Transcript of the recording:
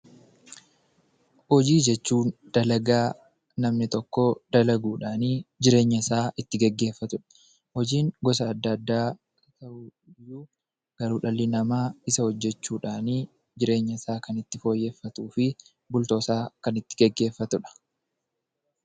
Hojii jechuun dalagaa namni tokko dalaguudhaanii jireenya isaa itti geggeeffatu dha. Hojiin gosa adda addaa ta'uyyuu, garuu dhalli namaa isa hojjechuudhaanii jireenya isaa itti fooyyeffatuu fi bultoosaa kan itti geggeeffatu dha.